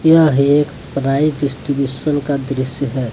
यह एक prize distribution का दृश्य है।